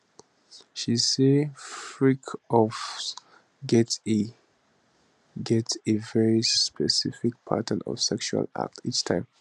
she say freakoffs get a get a very specific pattern of sexual acts each time